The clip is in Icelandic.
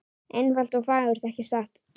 Einfalt og fagurt, ekki satt?